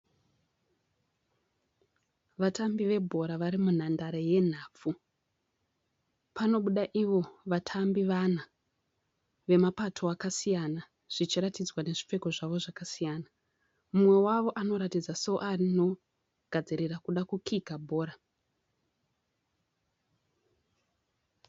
Vatambi vebhora vari munhandare yenhabvu panobuda ivo vatambi vana vemapato akasiyana zvichiratidzwa nezvipfeko zvavo zvakasiyana mumwe wavo anoratidza soano gadzirira kuda kukika bhora.